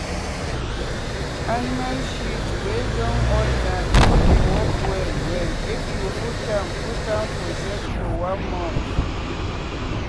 animal shit wey don old na im dey work well well if you put am put am for shade for one month.